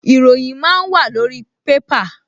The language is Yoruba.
Ìròyìn máa ń wàlórí pépà